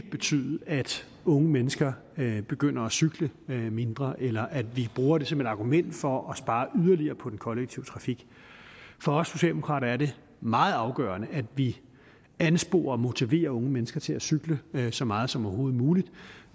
betyde at unge mennesker begynder at cykle mindre eller at vi bruger det som et argument for at spare yderligere på den kollektive trafik for os socialdemokrater er det meget afgørende at vi ansporer og motiverer unge mennesker til at cykle så meget som overhovedet muligt